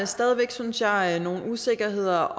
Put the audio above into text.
stadig væk synes jeg nogle usikkerheder